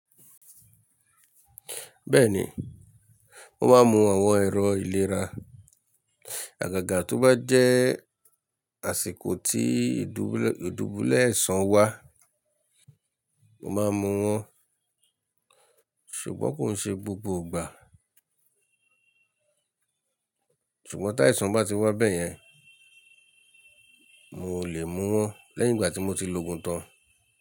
Bẹ́ẹ̀ni, mo máa ń mu àwọn ẹ̀rọ ìlera. Àgàgà tó bá jẹ́ àsìkò tí ìdúbulẹ̀àìsàn wá, mo máa mu wọn ṣùgbọ́n kò ń ṣe gbogbo ìgbà. Ṣùgbọ́n tí àìsàn bá ti wá bẹ́yẹn, mo ò lè mu wọn lẹ́yìn ìgbà tí mo ti loògùn tán.